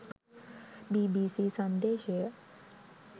bbc sandeshaya